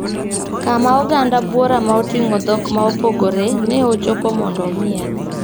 Kama oganda buora ma otingo dhok ma opogore na ochope mondo omiel.